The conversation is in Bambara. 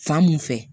Fan mun fɛ